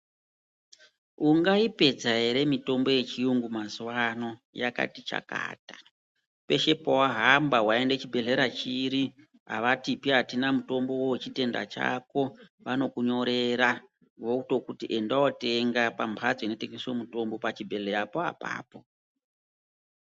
Ungaipedza ere mitombo yechiyungu mazuwaano? Yakati chakata peshe pawahamba waenda chibhedhlera chiri avatipi atina mutombo wechitenda chako. Vanokunyorera votokuti enda wootenda pachimbatso chinotengeswa mutombo pachibhedhlerapo apapo.